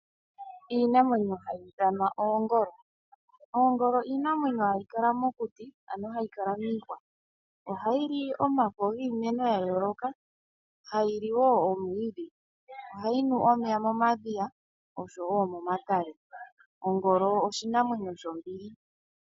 Iinamwenyo hayi ithanwa oongolo. Oongolo iinamwenyo hayi kala mokuti ano hayi kala miihwa, ohayi li omafo giimeno ya yooloka, hayi li wo omwiidhi, ohayi nu omeya momadhiya oshowo momatale. Ongolo oshinamwemyo shombili.